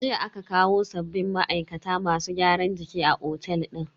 Jiya aka kawo sabbin ma'aikata masu gyaran jiki a otel din.